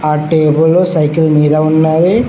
ఆ టేబుల్లు సైకిల్ మీద ఉన్నవి